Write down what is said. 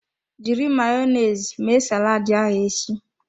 Jiri Mayonezi mee saladi ahụ echi.